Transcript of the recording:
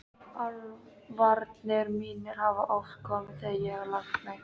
Álfarnir mínir hafa oft komið þegar ég hef lagt mig.